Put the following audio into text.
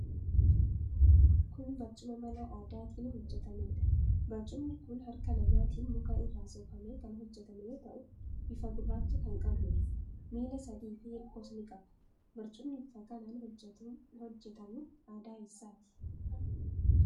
Kun barcuma mala aadaatiin hojjetameedha. Barcumni kun harka namaatiin muka irraa soofamee kan hojjetame yoo ta'u bifa gurraacha kan qabuudha. Miila sadiifi hirkoos ni qaba. Barcumni bifa kanaan hojjetamu aadaa eessaati?